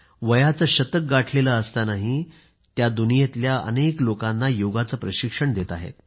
वयाचे शतक गाठलेले असतानाही त्या दुनियेतल्या अनेक लोकांना योगाचे प्रशिक्षण देत आहेत